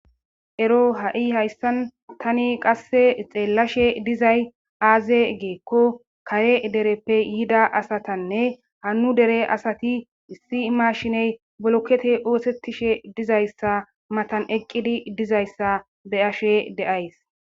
ero ha7i hayssan tani qasse xeellashe dizay aaze giikko kare dereppe yida asatanne hannu dere asati issi mashiney bolokete oosettishe dizayssa matan eqqidi dizayssa be'ashe deays.